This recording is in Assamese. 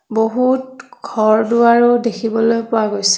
বহুত ঘৰ-দুৱাৰো দেখিবলৈ পোৱা গৈছে।